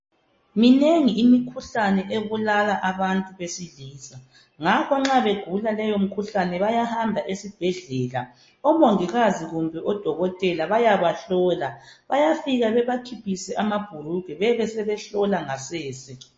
Minengi imikhuhlane ebulala abantu besilisa ngakho nxa begula leyo mikhuhlane bayahamba esibhedlela omongikazi kumbe odokotela bayabahlola, bayafika bebakhiphise amabhulugwe besebehlola ngasese.